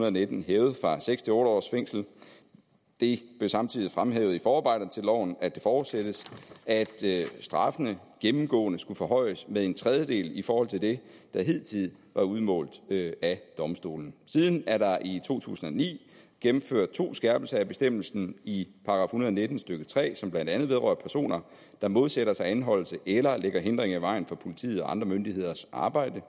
og nitten hævet fra seks til otte års fængsel det blev samtidig fremhævet i forarbejder til loven at det forudsættes at straffene gennemgående skulle forhøjes med en tredjedel i forhold til det der hidtil var udmålt af domstolene siden er der i to tusind og ni gennemført to skærpelser af bestemmelsen i og nitten stykke tre som blandt andet vedrører personer der modsætter sig anholdelse eller lægger hindringer i vejen for politiets og andre myndigheders arbejde